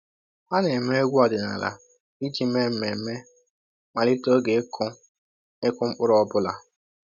“Ha na-eme egwu ọdịnala iji mee mmemme mmalite oge ịkụ ịkụ mkpụrụ ọ bụla